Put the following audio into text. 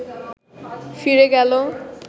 ফিরে গেল